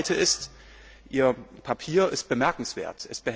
Zweitens Ihr Papier ist bemerkenswert.